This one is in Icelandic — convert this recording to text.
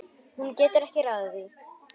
Hún getur ekki ráðið því.